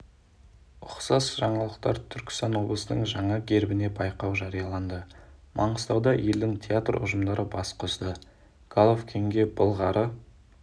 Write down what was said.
ұқсас жаңалықтар түркістан облысының жаңа гербіне байқау жарияланды маңғыстауда елдің театр ұжымдары бас қосты головкинге былғары